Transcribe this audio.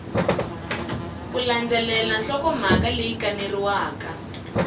ku landzelela nhlokomhaka leyi kaneriwaka